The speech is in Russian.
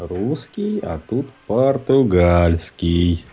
русский а тут португальский